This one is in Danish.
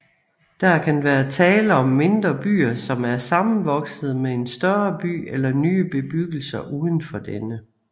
Der kan være tale om mindre byer som er sammenvoksede med en større by eller nye bebyggelser uden for denne